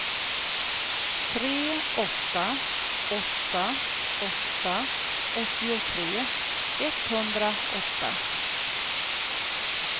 tre åtta åtta åtta åttiotre etthundraåtta